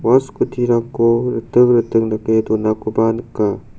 ua scooty-rangko riting riting dake donakoba nika.